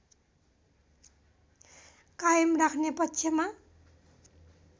कायम राख्ने पक्षमा